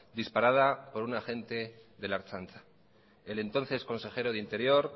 disparada por un agente de la ertzaintza el entonces consejero de interior